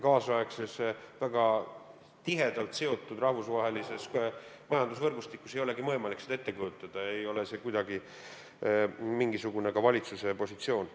Tänapäevases väga tihedalt seotud rahvusvahelises majandusvõrgustikus ei olegi võimalik seda ette kujutada ega ole see ka mingisugune valitsuse positsioon.